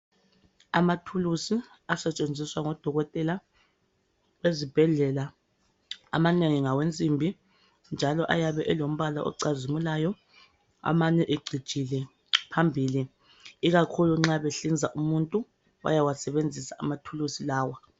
Amathulusi asetshenziswa ngoDokotela ezibhedlela amanengi ngawensimbi njalo ayabe elombala ocazimulayo amanye ecijile phambili, ikakhulu nxa behlinza umuntu bayawasebenzisa amathulusi lawo.